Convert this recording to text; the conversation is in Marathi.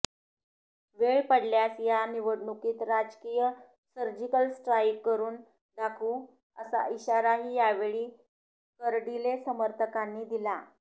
वेळ पडल्यास या निवडणुकीत राजकीय सर्जिकल स्ट्राईक करून दाखवू असा इशाराही यावेळी कर्डिले समर्थकांनी दिला